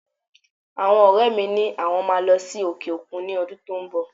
Àwọn ọrẹ mi ni àwọn máa lọ sí òkè òkun ní ọdún tó ń bọ̀.